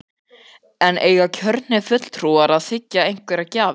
En eiga kjörnir fulltrúar að þiggja einhverjar gjafir?